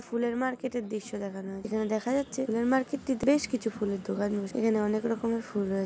ফুলের মার্কেট এর দৃশ্য দেখানো হচ্ছে এবং দেখা যাচ্ছে ফুলের মার্কেট টিতে বেশ কিছু ফুলের দোকান বসে এবং এখানে অনেক রকমের ফুল রয়ে--